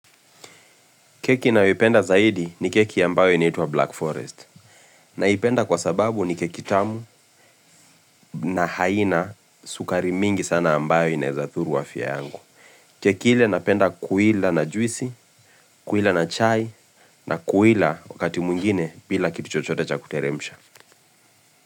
Keki ninayoipenda zaidi ni keki ambayo inaitwa Black Forest. Naipenda kwa sababu ni keki tamu na haina sukari mingi sana ambayo inaweza dhuru afya yangu. Keki ile napenda kuila na juisi, kuila na chai na kuila wakati mwingine bila kitu chochote cha kuteremsha.